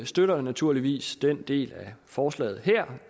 støtter naturligvis den del af forslaget her